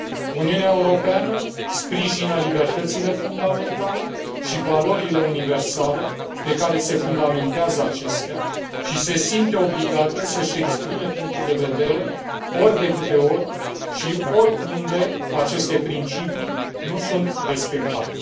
Uniunea Europeană sprijină libertățile fundamentale și valorile universale pe care se fundamentează acestea și se simte obligată să își exprime punctul de vedere ori de câte ori și oriunde aceste principii nu sunt respectate.